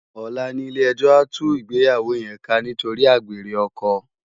Òlá ni ilé èjò á tú igbéyáwó yèn ká nitóri ágbéré òkò